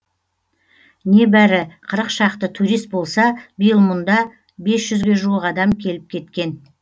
небәрі қырық шақты турист болса биыл мұнда бес жүзге жуық адам келіп кеткен